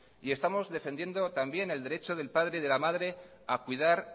y estamos defendiendo también el derecho del padre de la madre a cuidar